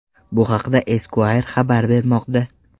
Bu haqda Esquire xabar bermoqda.